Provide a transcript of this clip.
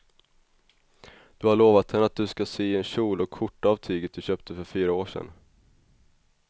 Du har lovat henne att du ska sy en kjol och skjorta av tyget du köpte för fyra år sedan.